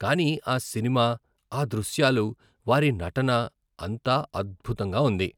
కానీ ఆ సినిమా, ఆ దృశ్యాలు, వారి నటన, అంతా అద్భుతంగా ఉంది.